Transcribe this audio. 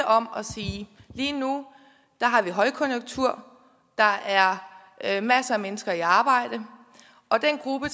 om og sige lige nu har vi højkonjunktur der er er masser af mennesker i arbejde og den gruppe